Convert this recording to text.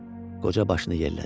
Qoca başını yellədi.